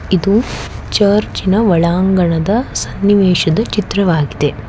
ಇದು ಚುರ್ಚ ಇನ ಒಲಂಗಣದ ಸನ್ನಿವೇಶದ ಚಿತ್ರವಾಗಿದೆ.